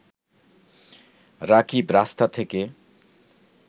রাকিব রাস্তা থেকে